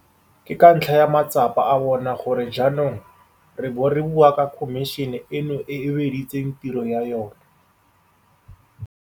Ke ka ntlha ya matsapa a bona gore jaanong re bo re bua ka khomišene eno e e weditseng tiro ya yona.